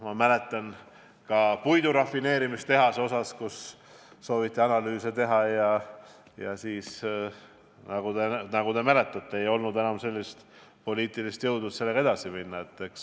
Ma mäletan, ka puidurafineerimistehase kohta sooviti analüüse teha, aga siis, nagu te mäletate, ei olnud enam poliitilist jõudu, et sellega edasi minna.